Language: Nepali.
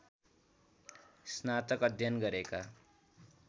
स्नातक अध्ययन गरेका